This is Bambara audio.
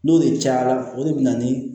N'o de cayara o de bɛ na ni